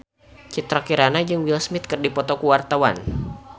Citra Kirana jeung Will Smith keur dipoto ku wartawan